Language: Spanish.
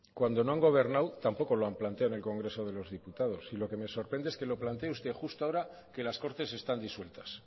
cuando no han gobernado tampoco lo han planteado en el congreso de los diputados y lo que me sorprende es que lo plantee usted justo ahora que las cortes están disueltas